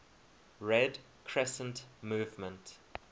red crescent movement